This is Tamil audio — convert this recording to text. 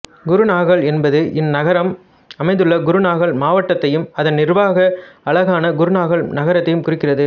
குருநாகல் என்பது இந்நகரம் அமைந்துள்ள குருநாகல் மாவட்டத்தையும் அதன் நிர்வாக அலகான குருநாகல் நகரத்தையும் குறிக்கிறது